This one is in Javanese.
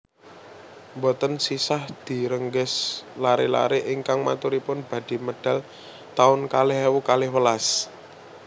Mboten sisah direngges lare lare ingkang maturipun badhe medal taun kalih ewu kalih welas